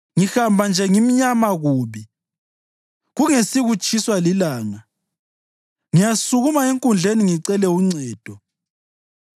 Ngihamba nje ngimnyama kubi, kungesikutshiswa lilanga; ngiyasukuma enkundleni ngicele uncedo.